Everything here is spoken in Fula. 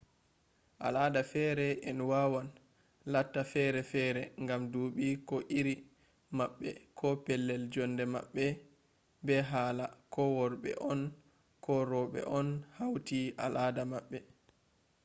al ada fere en wawan latta fere fere ngam duuɓi ko iri maɓɓe ko pellel jonde maɓɓe be hala ko worɓe on ko roɓe on hauti al ada man